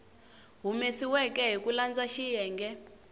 humesiweke hi ku landza xiyenge